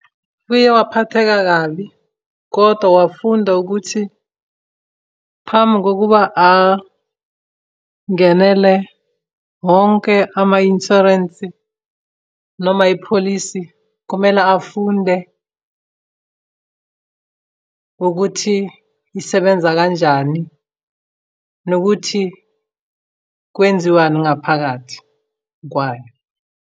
Uye waphatheka kabi, kodwa wafunda ukuthi phambi kokuba angenele wonke ama-inshwarensi noma ipholisi, kumele afunde ukuthi isebenza kanjani, nokuthi kwenziwani ngaphakathi kwayo.